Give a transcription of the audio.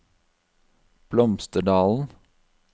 Blomsterdalen